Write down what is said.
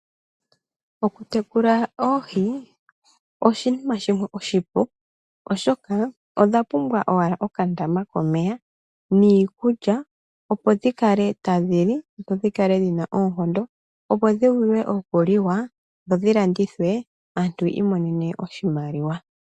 Oku tekula oohi, oshinima shimwe oshipu, oshoka odha pumbwa owala okandama komeya, niikulya, opo dhikale tadhi li, dho dhikale dhina oonkondo, opo dhivule okuliwa, dho dhi landithwe, aantu yiimonene oshimaliwa.